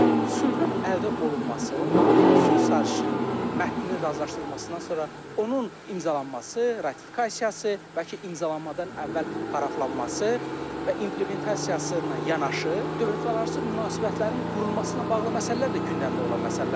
Sülhün əldə olunması, sülh sazişinin mətninin razılaşdırılmasından sonra onun imzalanması, ratifikasiyası, bəlkə imzalanmadan əvvəl paraflanması və implementasiyası ilə yanaşı dövlətlərarası münasibətlərin qurulması ilə bağlı məsələlər də gündəmdə olan məsələlərdir.